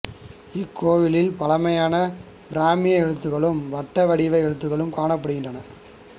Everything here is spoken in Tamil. இக்கோவிலில் பழமையான பிராமி எழுத்துக்களும் வட்ட வடிவ எழுத்துக்களும் காணப்படுகின்றன